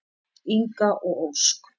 Inga og Ósk.